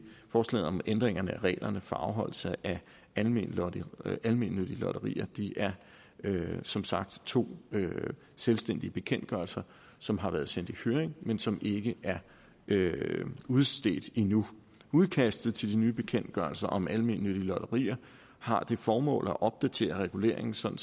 forslaget om ændring af reglerne for afholdelse af almennyttige lotterier almennyttige lotterier det er som sagt to selvstændige bekendtgørelser som har været sendt i høring men som ikke er udstedt endnu udkastet til de nye bekendtgørelser om almennyttige lotterier har det formål at opdatere reguleringen sådan